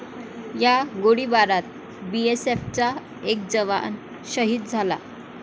या गोळीबारात बीएसएफचा एक जवान शहीद झाला आहे.